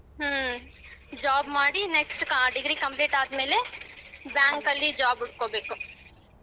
ಹ್ಮ job ಮಾಡಿ next degree complete ಆದಮೇಲೆ bank ಅಲಿ job ಹುಡಕೋಬೇಕು.